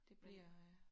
Det bliver øh